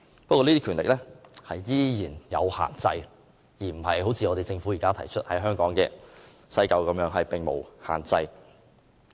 不過，這些權力依然是有限制的，並不像政府現時建議在香港西九龍站實施的安排般全無限制。